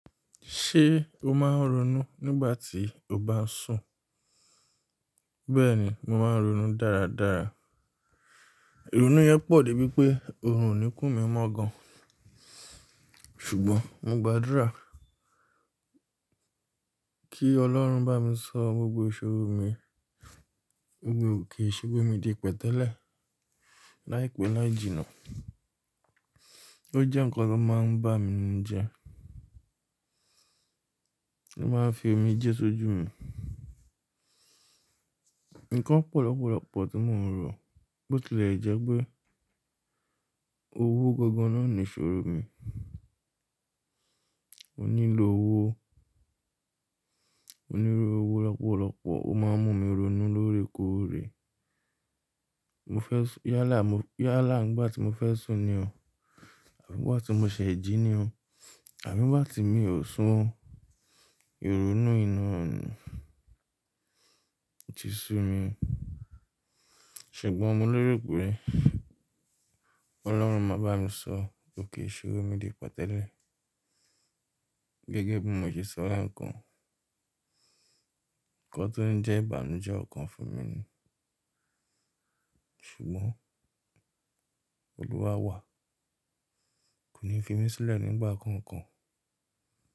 Ṣé o máa ń ronú nígbà tí o bá ń sùn? Bẹ́ẹ̀ni, mo máa ń ronú dára dára. Irunú yẹn pọ̀ dé bí pé òórùn oníkú mi mọ gan. Ṣùgbọ́n mo gbàdúrà kí Ọlọ́run bá mi sọ gbogbo ìṣòro mi, gbogbo òkè ìṣòro mi di pẹ́ tẹ́lẹ̀. Láìpẹ́ láì jìnnà. Ó jẹ́ ǹkan tó máa ń bá mi ninu je Ó máa ń fi omi jẹ sójú mi. Ǹkan pọlọpọlọ pọ̀ tí mò ń rò. Bó tilẹ̀ jẹ́ pé owó gangan náà ni ìṣòro mi. Mo nílò owó. Mo nílò owó lọ́pọ̀lọpọ̀. Ó máa ń mú mi ronú lóòrè kóòrè. Mo fẹ́ sùn, yálà, yálà nígbà tí mo fẹ́ sùn ni o Àbi nígbà tí mo ṣẹ̀e ji ní o Àbi nígbà tí mi ò sùn. Ìrònú inú mi ti sú mi. Ṣùgbọ́n mo lérò pé Ọlọ́run máa bá mi sọ òkè ìṣòro mi di pẹ́ tẹ́lẹ̀. Gẹ́gẹ́ bí mo ṣe sọ ǹkan kan tó ń jẹ́ ìbànújẹ́ ọ̀kan fún mi ni. Ṣùgbọ́n Olúwa wà. Kò ní fi mí sílẹ̀ nígbà kankan.